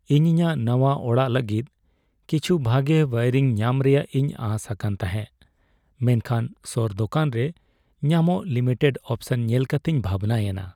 ᱤᱧ ᱤᱧᱟᱹᱜ ᱱᱟᱶᱟ ᱚᱲᱟᱜ ᱞᱟᱹᱜᱤᱫ ᱠᱤᱪᱷᱩ ᱵᱷᱟᱜᱮ ᱳᱭᱟᱨᱤᱝ ᱧᱟᱢ ᱨᱮᱭᱟᱜ ᱤᱧ ᱟᱸᱥ ᱟᱠᱟᱱ ᱛᱟᱦᱮᱸᱜ, ᱢᱮᱱᱠᱷᱟᱱ ᱥᱳᱨ ᱫᱳᱠᱟᱱ ᱨᱮ ᱧᱟᱢᱚᱜ ᱞᱤᱢᱤᱴᱮᱰ ᱚᱯᱥᱚᱱ ᱧᱮᱞ ᱠᱟᱛᱮᱧ ᱵᱷᱟᱵᱱᱟᱭᱮᱱᱟ ᱾